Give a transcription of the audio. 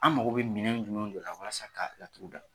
An mago bɛ minɛnw de la la walasa sa ka laturu da?